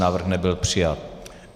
Návrh nebyl přijat.